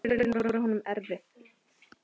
Síðustu árin voru honum erfið.